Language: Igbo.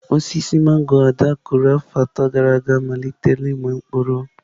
Osisi mangọrọ Ada kụrụ afọ atọ gara aga amalitela ịmị mkpụrụ.